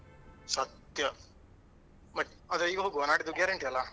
ಸತ್ಯ but ಆದ್ರೆ ಈಗ ಹೋಗ್ವಾ ನಾಡಿದ್ದು guarantee ಅಲ್ಲಾ?